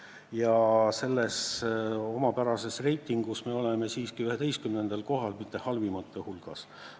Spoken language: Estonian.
Ja selles omapärases reitingus me oleme siiski 11. kohal, mitte halvimate hulgas.